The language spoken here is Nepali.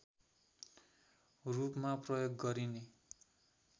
रूपमा प्रयोग गरिने